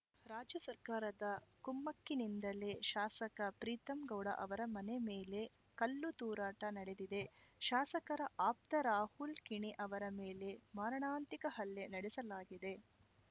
ರಾಜ್ಯ ಸರ್ಕಾರದ ಕುಮ್ಮಕ್ಕಿನಿಂದಲೇ ಶಾಸಕ ಪ್ರೀತಂ ಗೌಡ ಅವರ ಮನೆ ಮೇಲೆ ಕಲ್ಲು ತೂರಾಟ ನಡೆದಿದೆ ಶಾಸಕರ ಆಪ್ತ ರಾಹುಲ್‌ ಕಿಣಿ ಅವರ ಮೇಲೆ ಮಾರಣಾಂತಿಕ ಹಲ್ಲೆ ನಡೆಸಲಾಗಿದೆ